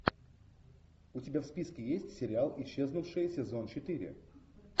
у тебя в списке есть сериал исчезнувшая сезон четыре